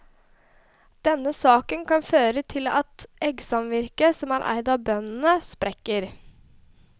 Denne saken kan føre til at eggsamvirket, som er eid av bøndene, sprekker.